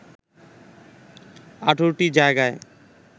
১৮ টি জায়গায়